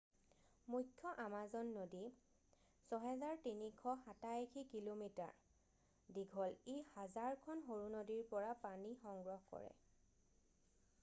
মুখ্য আমাজন নদী 6,387 কিঃ মিঃ 3,980 মাইল দীঘল। ই হাজাৰখন সৰু নদীৰ পৰা পানী সংগ্ৰহ কৰে।